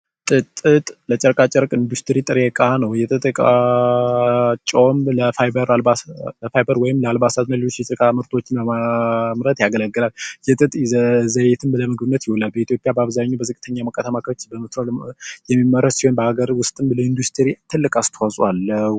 ጥጥ የኢንዱስትሪ ጥሪ እቃ ነው ለአልባሳት ነገሮችና ጨርቆችን ለማምረት ያገለግላል የጥጥ ይዘት ለዘይት ይውላል በኢትዮጵያ በአብዛኛው አካባቢዎች በብዛት የሚመረት ይሆን ለ ኢንዱስትሪ ትልቅ አስተዋጽኦ አለው።